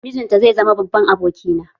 Mijinta zai zama babban abokina